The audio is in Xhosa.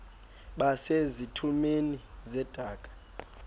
base zitulmeni zedaka